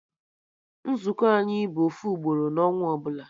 Nzukọ anyị bụ ofu ugboro na ọnwa ọbụla